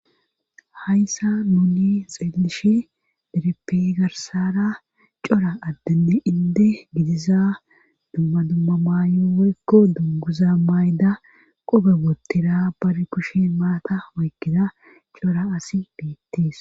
Hayssa nuni xeellish dereppe garsara cora addenne inde gidiza dumma dumma mayo woykko dunguza mayida qoobe guttara bari kushen maata woykkida cora asi beettis.